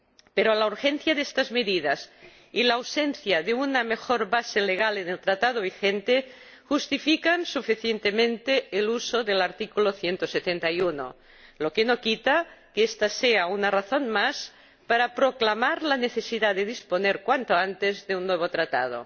Pero la urgencia de estas medidas y la ausencia de una mejor base jurídica en el Tratado vigente justifican suficientemente el uso del artículo 171, lo que no quita que ésta sea una razón más para proclamar la necesidad de disponer cuanto antes de un nuevo Tratado.